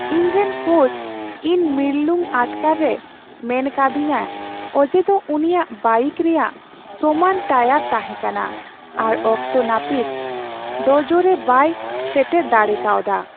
ᱤᱧᱨᱮᱱ ᱠᱳᱪ ᱤᱧ ᱢᱤᱨᱞᱩᱝ ᱟᱴᱠᱟᱨ ᱨᱮ ᱢᱮᱱ ᱠᱟᱣᱫᱤᱧᱟ ᱚᱡᱮᱫᱚ ᱩᱱᱤᱭᱟᱜ ᱵᱟᱭᱤᱠ ᱨᱮᱭᱟᱜ ᱥᱚᱢᱟᱱ ᱴᱟᱭᱟᱨ ᱛᱟᱦᱮᱸ ᱠᱟᱱᱟ ᱟᱨ ᱚᱠᱛᱚ ᱱᱟᱹᱯᱤᱛ ᱰᱳᱡᱳᱨᱮ ᱵᱟᱭ ᱥᱮᱴᱮᱨ ᱫᱟᱲᱮ ᱠᱟᱣᱫᱟ ᱾